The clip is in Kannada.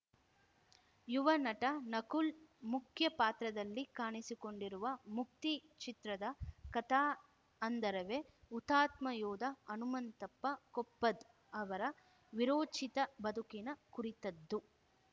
ಯುವ ನಟ ನಕುಲ್‌ ಮುಖ್ಯ ಪಾತ್ರದಲ್ಲಿ ಕಾಣಿಸಿಕೊಂಡಿರುವ ಮುಕ್ತಿ ಚಿತ್ರದ ಕಥಾ ಹಂದರವೇ ಹುತ್ಮಾತ ಯೋಧ ಹನುಮಂತಪ್ಪ ಕೊಪ್ಪದ್‌ ಅವರ ವಿರೋಚಿತ ಬದುಕಿನ ಕುರಿತದ್ದು